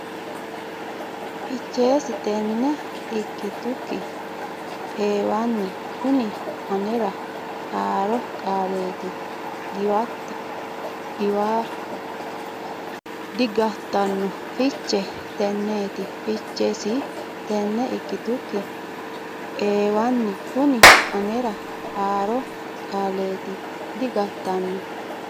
Fichesi Tenne Ikkitukki Eewanni Kuni Anera Haaro Qaaleeti Digattanno Fichesi Tenneeti Fichesi Tenne Ikkitukki Eewanni Kuni Anera Haaro Qaaleeti Digattanno.